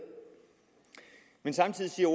men samtidig siger